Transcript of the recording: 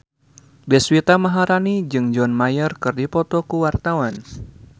Deswita Maharani jeung John Mayer keur dipoto ku wartawan